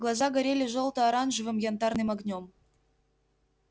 глаза горели жёлто-оранжевым янтарным огнём